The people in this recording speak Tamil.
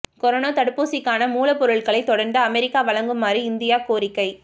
கொரோனா தடுப்பூசிக்கான மூலப் பொருட்களை தொடர்ந்து அமெரிக்கா வழங்குமாறு இந்தியா கோரிக்கை